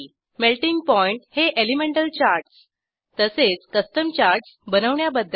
melting point हे elemental charts तसेच custom charts बनवण्याबद्दल